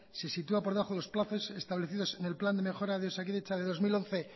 se sitúa por debajo de los plazos establecidos en el plan de mejora de osakidetza de dos mil once